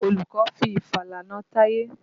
Olùkọ́ fi ìfàlà na Táyé.